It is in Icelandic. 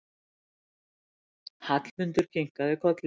Hallmundur kinkar kolli.